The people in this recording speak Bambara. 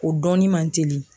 O dɔnni man teli.